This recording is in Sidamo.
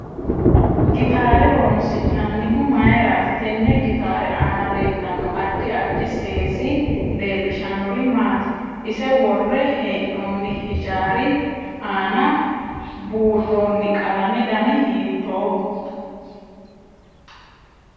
Gitaare horoonsinanihu mayiirati tenne gitaare aana leelanno addi addi seesi leelishanori maati ise worre heenooni hijaari aana buurooni qalamete dani hiitooho